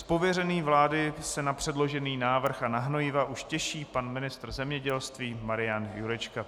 Z pověření vlády se na předložený návrh a na hnojiva už těší pan ministr zemědělství Marian Jurečka.